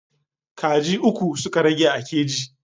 Kaji uku suka rage a keji.